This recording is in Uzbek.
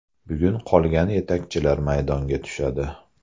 Bugun qolgan yetakchilar maydonga tushadi.